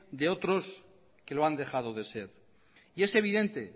de otros que lo han dejado de ser y es evidente